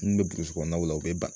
N b burusu kɔnɔnaw la u be ban